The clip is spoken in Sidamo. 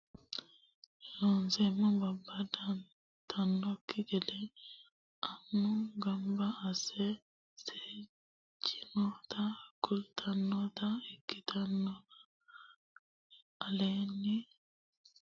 Loonseemmo babbadantannokki gede annu gamba asse seejjinota kultannota ikktinotanna aleenni giraafete qinsiishshi hunda nooti mitteenni heedhannori busha nooti niwaawete mitte mitte gufora amaalenni babbadamansanni ikkinota noo hedooti.